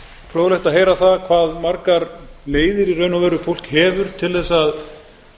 fróðlegt að heyra það hve margar leiðir í raun og veru fólk hefur til að